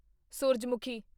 ਸੂਰਜਮੁਖੀ